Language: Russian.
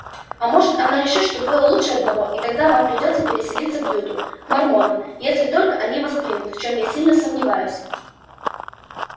а может она решит что двое лучше одного и тогда вам придётся переселиться в юту к мормонам если только они вас примут в чём я сильно сомневаюсь